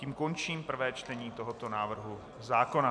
Tím končím prvé čtení tohoto návrhu zákona.